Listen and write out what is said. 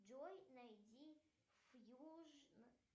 джой найди фьюжн